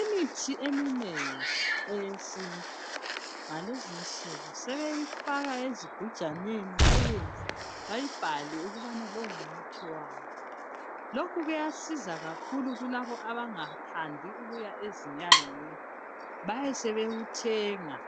Imithi eminengi eyesintu ngalezinsuku sebeyifaka ezigujaneni bayenze bayibhale ukubanaa lowu ngumuthi wani. Lokhu kuyasiza kakhulu kulaba abangathandi ukuya ezinyangeni babe sebewuthenga